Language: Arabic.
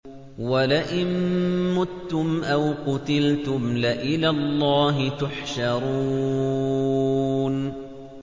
وَلَئِن مُّتُّمْ أَوْ قُتِلْتُمْ لَإِلَى اللَّهِ تُحْشَرُونَ